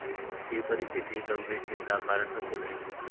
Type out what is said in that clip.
ही परिस्थिती गंभीर चिंता कारण असू नये.